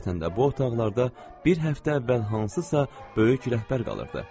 Həqiqətən də bu otaqlarda bir həftə əvvəl hansısa böyük rəhbər qalırdı.